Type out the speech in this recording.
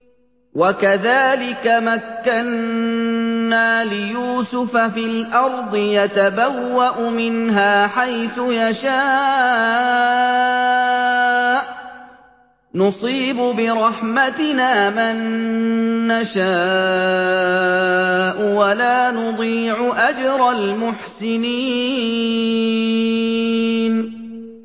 وَكَذَٰلِكَ مَكَّنَّا لِيُوسُفَ فِي الْأَرْضِ يَتَبَوَّأُ مِنْهَا حَيْثُ يَشَاءُ ۚ نُصِيبُ بِرَحْمَتِنَا مَن نَّشَاءُ ۖ وَلَا نُضِيعُ أَجْرَ الْمُحْسِنِينَ